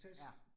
Ja